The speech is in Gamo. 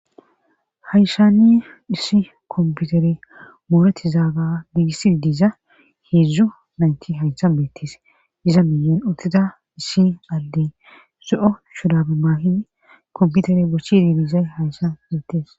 haysanni issi kompiutere muureti zaaga biigissidi diza heedzdzo naynti hayha beettes iza miyen uttida issi alle zo7o shurabe maahidi kompiutere bochidi biizay hayshan beettes